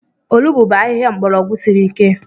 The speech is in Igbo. Olugbu bụ ahịhịa mgbọrọgwụ siri ike.